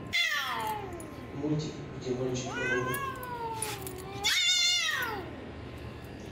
мультик где мальчик робот